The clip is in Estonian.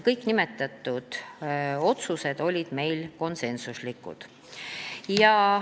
Kõik nimetatud otsused olid konsensuslikud.